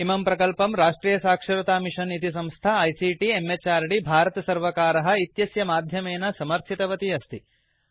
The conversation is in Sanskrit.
इमं प्रकल्पं राष्ट्रियसाक्षरतामिषन् इति संस्था आईसीटी म्हृद् भारतसर्वकार इत्यस्य माध्यमेन समर्थितवती अस्ति